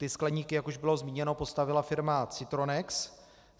Ty skleníky, jak už bylo zmíněno, postavila firma Citronex.